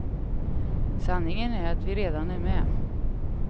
Sanningen är att vi redan är med.